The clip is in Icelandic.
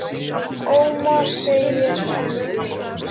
Ómar, segir annar.